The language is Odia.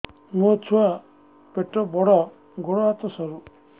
ମୋ ଛୁଆ ପେଟ ବଡ଼ ଗୋଡ଼ ହାତ ସରୁ